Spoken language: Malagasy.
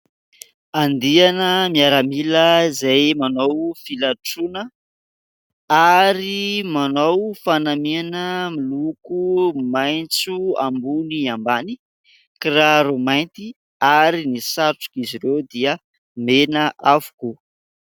Andiana miaramila izay manao filatroana ary manao fanamiana miloko maitso ambony ambany kiraro mainty ary ny satroka izy ireo dia mena avokoa.